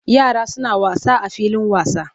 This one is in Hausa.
Yara suna wasa a filin wasa.